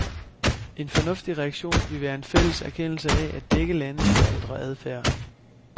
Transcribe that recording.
En fornuftig reaktion ville være en fælles erkendelse af, at begge lande bør ændre adfærd.